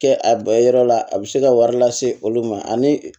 Kɛ a yɔrɔ la a bɛ se ka wari lase olu ma ani